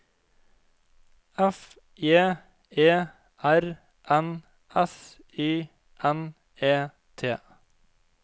F J E R N S Y N E T